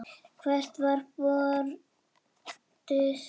Hvert var brotið?